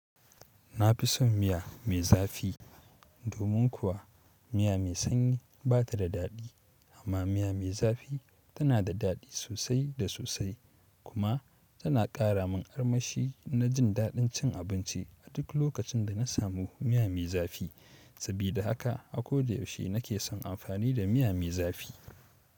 Na fi son miya mai zafi. Domin kuwa miya mai sanyi ba ta da daɗi amma miya mai zafi tana da ɗadi sosai da sosai kuma tana ƙara min armashi na jin daɗin cin abinci a duk lokacin da na samu miya mai zafi. Sabida haka a ko da yaushe na ke son amfani da miya mai zafi.